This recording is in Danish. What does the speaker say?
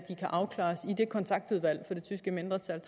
afklares i det kontaktudvalg for det tyske mindretal